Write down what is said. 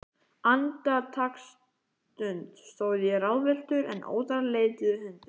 Andartaksstund stóð ég ráðvilltur, en óðara leituðu hendur